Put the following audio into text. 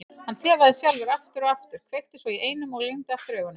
Hann þefaði sjálfur aftur og aftur, kveikti svo í einum og lygndi aftur augunum.